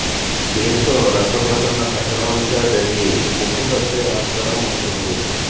దీంతో రక్త ప్రసరణ సక్రమంగా జరిగి ముప్పు తప్పే ఆస్కారం ఉంటుంది